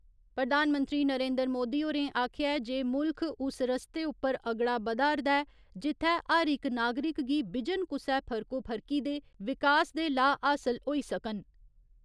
प्रधानमंत्री नरेन्द्र मोदी होरें आखेआ ऐ जे मुल्ख उस रस्ते उप्पर अगड़ा बदधा'रदा जित्थै हर इक नागरिक गी बिजन कुसै फर्कोफर्की दे विकास दे लाह् हासल होई सकन।